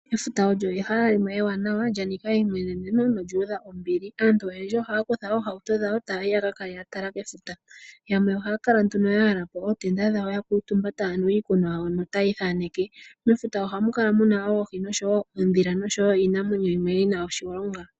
Efuta lyo ehala limwe ewanawa lya nika eimweneneno nolyu udha ombili. Aantu oyendji ohaya kutha oohauto dha wo eta ya yi yaka kale ya tala kefuta. Yamwe ohaya kala nduno ya yala po ootenda dhawo ya kuutumba taya nu iikunwa yawo notaya ithaneke. Mefuta ohamu kala muna oohi, oondhila nosho wo iinamwenyo yimwe yina oshilonga.